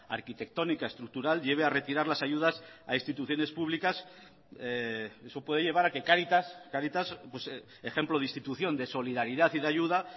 arquitectónica estructural lleve a retirar las ayudas a instituciones públicas eso puede llevar a que cáritas cáritas ejemplo de institución de solidaridad y de ayuda